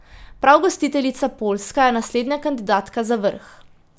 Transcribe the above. Prav gostiteljica Poljska je naslednja kandidatka za vrh.